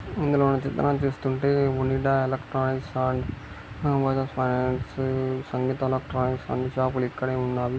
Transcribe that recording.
ఇందులోని చిత్రాన్ని చూస్తుంటే Onida electronics and Bajaj finance Sangeetha electronics అన్ని షాపు లు ఇక్కడే ఉన్నాయి.